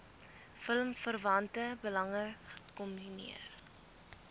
filmverwante belange kombineer